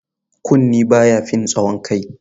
Kunne ba ya fin tsawon kai.